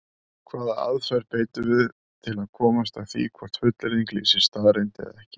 Hvaða aðferð beitum við til að komast að því hvort fullyrðing lýsir staðreynd eða ekki?